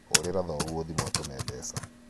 hũrĩra thoguo thimũ atũme mbeca